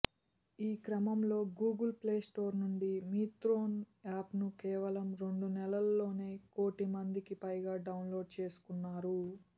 ఈ క్రమంలో Google play store నుంచి మిత్రోన్ యాప్ను కేవలం రెండు నెలల్లోనే కోటి మందికి పైగా డౌన్లోడ్ చేసుకున్నారు